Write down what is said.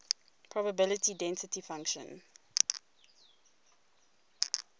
probability density function